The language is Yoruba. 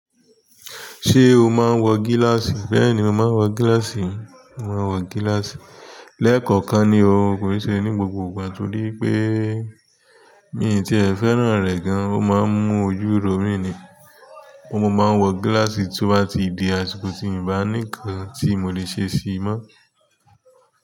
Se o maa n wo gilasi. Bẹ́ẹ̀ni, mo máa ń wọ gíláàsì. Mo máa ń wọ gíláàsì lẹ́ẹ̀kọ̀kan ni o, ko i ṣe ní gbogbo ìgbà torí pé mi tí ẹ fẹ́ràn rẹ̀ gan, ó máa ń mú ojú ro mí ni. Mo máa ń wọ gíláàsì tó bá ti di àsìkò tí mi bá nì nkan tí mo lè ṣe ṣìí mọ́.